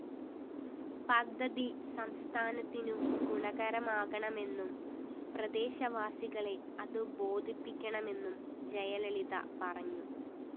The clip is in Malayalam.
പദ്ധതി സംസ്ഥാനത്തിനു ഗുണകരമാണെന്നും പ്രദേശവാസികളെ അതു ബോധിപ്പിക്കണമെന്നും ജയലളിത പറഞ്ഞു